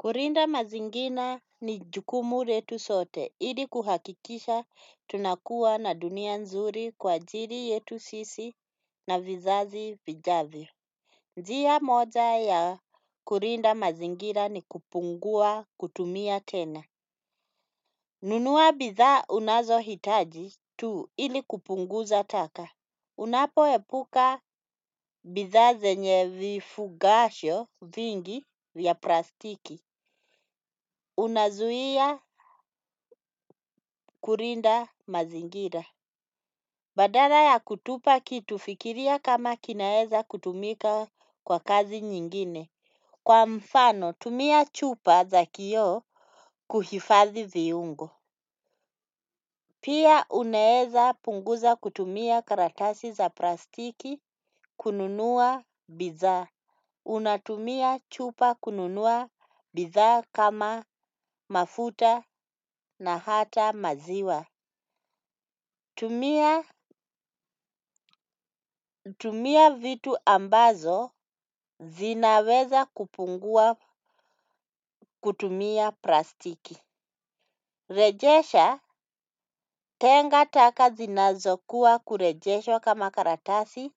Kulinda mazingira ni jukumu letu sote ili kuhakikisha tunakuwa na dunia nzuri kwa ajiri yetu sisi na vizazi vijavyo. Njiya moja ya kurinda mazingira ni kupungua kutumia tena. Nunua bidha unazo hitaji tu ili kupunguza taka. Unapo epuka bithaa zenye vifugasho vingi ya plastiki. Unazuhia kurinda mazingira. Badana ya kutupa kitu fikiria kama kinaeza kutumika kwa kazi nyingine. Kwa mfano tumia chupa za kio kuhifadhi viungo. Pia unaeza punguza kutumia karatasi za plastiki kununua bidha. Unatumia chupa kununua bidhaa kama mafuta na hata maziwa. Tumia vitu ambazo zinaweza kupungua kutumia plastiki. Rejesha tenga taka zinazokuwa kurejesha kama karatatsi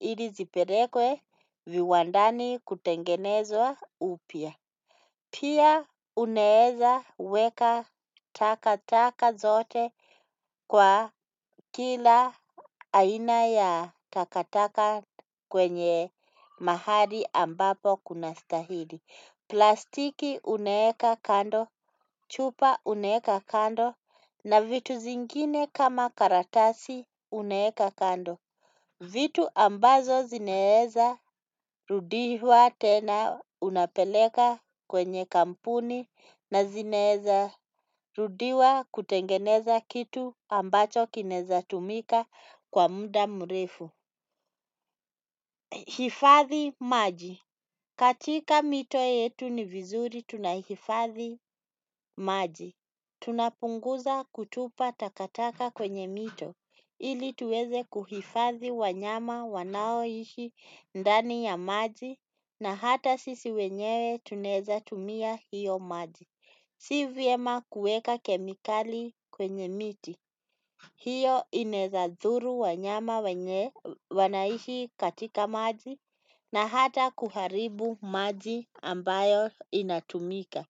ili vipelekwe viwandani kutengenezwa upya. Pia unaeza weka takataka zote kwa kila aina ya takataka kwenye mahali ambapo kuna stahili. Plastiki unaeka kando, chupa unaeka kando na vitu zingine kama karatasi unaeka kando. Vitu ambazo zineheza rudiwa tena unapeleka kwenye kampuni na zineheza rudihua kutengeneza kitu ambacho kineza tumika kwa muda mrefu. Hifathi maji. Katika mito yetu ni vizuri tunahifathi maji. Tunapunguza kutupa takataka kwenye mito ili tuweze kuhifadhi wanyama wanaoishi ndani ya maji na hata sisi wenyewe tunaza tumia hiyo maji. Si vyema kueka kemikali kwenye miti. Hiyo inezadhuru wanyama wanaishi katika maji na hata kuharibu maji ambayo inatumika.